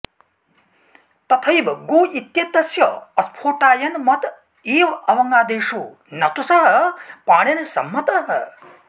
तथैव गो इत्येतस्य स्फोटायनमत एव अवङादेशो न तु सः पाणिनिसम्मतः